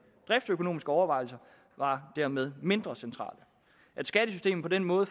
driftsøkonomiske overvejelser var dermed mindre centrale at skattesystemet på den måde